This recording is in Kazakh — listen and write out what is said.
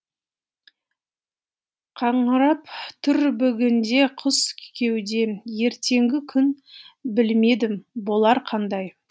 қаңырап тұр бүгінде құс кеудем ертеңгі күн білмедім болар қандай